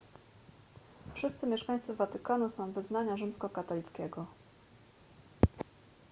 wszyscy mieszkańcy watykanu są wyznania rzymskokatolickiego